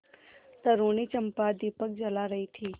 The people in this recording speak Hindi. तरूणी चंपा दीपक जला रही थी